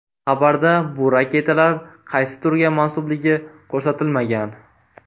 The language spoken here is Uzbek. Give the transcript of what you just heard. Xabarda bu raketalar qaysi turga mansubligi ko‘rsatilmagan.